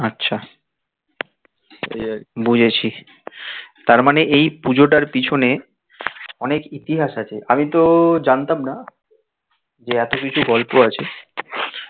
আচ্ছা বুঝেছি তার মানে এই পুজোটার পেছনে অনেক ইতিহাস আছে আমি তো জানতাম না যে এত কিছু গল্প আছে